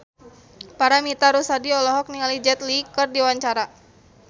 Paramitha Rusady olohok ningali Jet Li keur diwawancara